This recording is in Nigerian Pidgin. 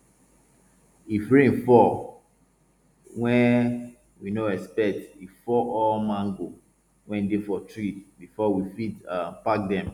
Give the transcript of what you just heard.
if rain fall wey we no expect e fall all mango wey dey for tree before we fit um pack dem